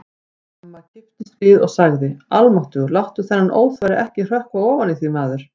Amma kipptist við og sagði: Almáttugur, láttu þennan óþverra ekki hrökkva ofan í þig, maður